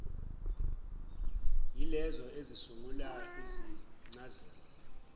yilezo ezisungula izincazelo